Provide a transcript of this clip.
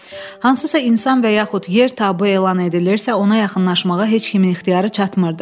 Hansısa insan və yaxud yer taboo elan edilirsə, ona yaxınlaşmağa heç kimin ixtiyarı çatmırdı.